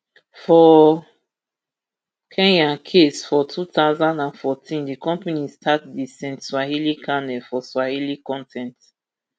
for kenya case for two thousand and fourteen di company start di st swahili cannel for swahili con ten t